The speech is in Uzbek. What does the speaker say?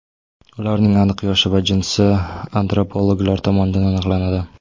Ularning aniq yoshi va jinsi antropologlar tomonidan aniqlanadi.